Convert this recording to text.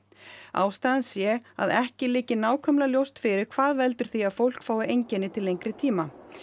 ástæðan sé að ekki liggi nákvæmlega ljóst fyrir hvað veldur því að fólk fái einkenni til lengri tíma